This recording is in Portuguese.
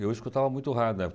Eu escutava muito rádio na época